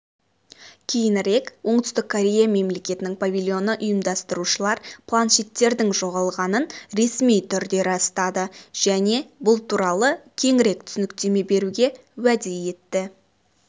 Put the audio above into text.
кейінірек оңтүстік корея мемлекетінің павильоны ұйымдастырушылар планшеттердің жоғалғанын ресми түрде растады және бұл туралы кеңірек түсініктеме беруге уәде етті